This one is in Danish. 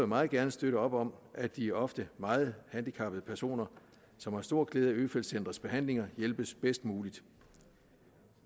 meget gerne støtte op om at de ofte meget handicappede personer som har stor glæde af øfeldt centrets behandlinger hjælpes bedst muligt